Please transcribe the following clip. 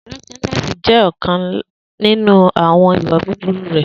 Drunkenness jẹ ọkan ninu awọn iwa buburu rẹ